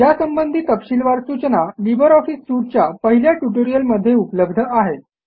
यासंबंधी तपशीलवार सूचना लिब्रे ऑफिस सूट च्या पहिल्या ट्युटोरियलमध्ये उपलब्ध आहेत